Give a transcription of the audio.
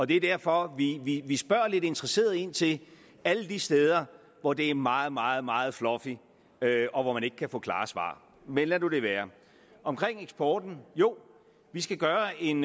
det er derfor vi spørger lidt interesseret ind til alle de steder hvor det er meget meget meget fluffy og hvor man ikke kan få klare svar men lad nu det være omkring eksporten jo vi skal gøre en